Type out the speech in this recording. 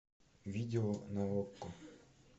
видео на окко